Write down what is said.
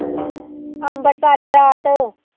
Ambarsar Barat